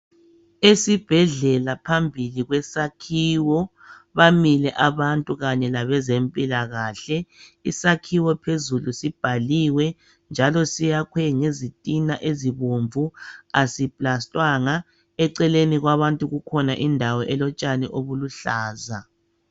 Esibhedlela phambili kwesakhiwo bamile abantu kanye labezempilakahle. Isakhiwo phezulu sibhaliwe njalo siyakhwe ngezitina ezibomvu aziplastangwa. Eceleni kwabantu kukhona indawo elotshani obuluhlaza.